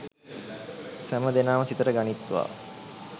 සැම දෙනම සිතට ගනිත්වා